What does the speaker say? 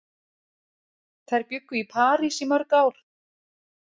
Þær bjuggu í París í mörg ár.